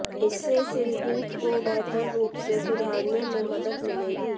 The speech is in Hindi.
इससे सिल्हूट को बेहतर रूप से सुधारने में मदद मिलेगी